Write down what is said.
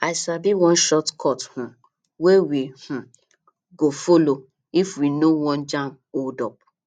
i sabi one shortcut um wey we um go folo if we no wan jam holdup